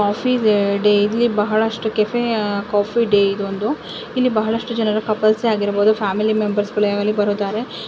Coffee ವೆ day ಅಲ್ಲಿ ಬಹಳಷ್ಟು ಕೆಫೆಯ ಕಾಫೀ ಡೇ ಇದ್ ಒಂದು ಇಲ್ಲಿ ಬಹಳಷ್ಟು ಜನರು ಕಪಲ್ಸ್ ಆಗಿರ್ಬೋದು ಫ್ಯಾಮಿಲಿ ಮೆಂಬರ್ಸ್ಗಳು ಇಲ್ಲಿ ಬರುತ್ತಾರೆ .